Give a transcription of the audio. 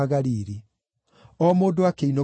(O mũndũ akĩinũka gwake mũciĩ.